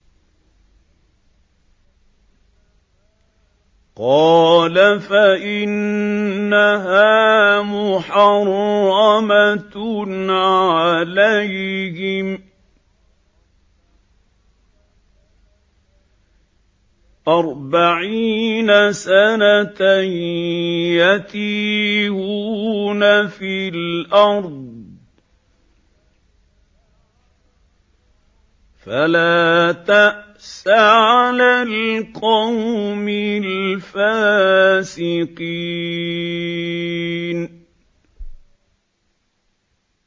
قَالَ فَإِنَّهَا مُحَرَّمَةٌ عَلَيْهِمْ ۛ أَرْبَعِينَ سَنَةً ۛ يَتِيهُونَ فِي الْأَرْضِ ۚ فَلَا تَأْسَ عَلَى الْقَوْمِ الْفَاسِقِينَ